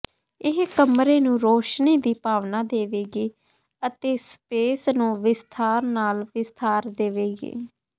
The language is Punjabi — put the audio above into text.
ਇਹ ਕਮਰੇ ਨੂੰ ਰੌਸ਼ਨੀ ਦੀ ਭਾਵਨਾ ਦੇਵੇਗੀ ਅਤੇ ਸਪੇਸ ਨੂੰ ਵਿਸਥਾਰ ਨਾਲ ਵਿਸਥਾਰ ਦੇਵੇਗੀ